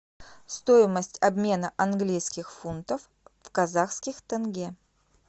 стоимость обмена английских фунтов в казахских тенге